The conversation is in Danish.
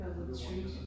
Det var sådan en treat